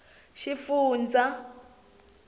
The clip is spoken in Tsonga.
xifundzha